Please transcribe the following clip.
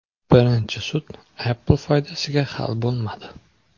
Birinchi sud Apple foydasiga hal bo‘lmadi .